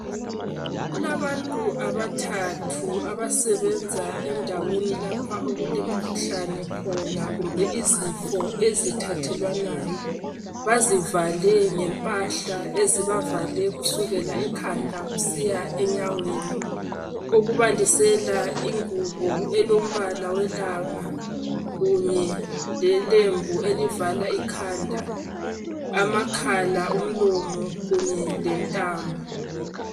Kulabantu abathathu abasebenza endaweni lapha okulemkhuhlane khona kumbe izifo ezithathelwanayo , bazivale ngempahla ezibavale kusukela ekhanda kusiya enyaweni okubalisela ingubo elombala welanga kunye lelembu elivala ikhanda , amakhala , umlomo kunye lentamo